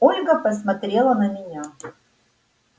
ольга посмотрела на меня